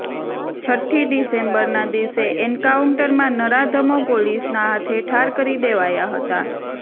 છટ્ઠી ડિસેમ્બરના દિવસે એન્કાઉન્ટરમાં નરાધમો પોલીસના હાથે ઠાર કરી દેવાયા હતા